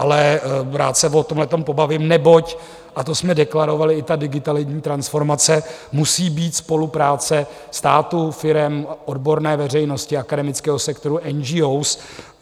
Ale rád se o tomhletom pobavím, neboť - a to jsme deklarovali - i ta digitalidní transformace musí být spolupráce státu, firem, odborné veřejnosti, akademického sektoru, NGOs.